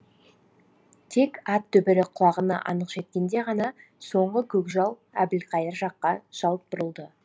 тек ат дүбірі құлағына анық жеткенде ғана соңғы көкжал әбілқайыр жаққа жалт бұрылды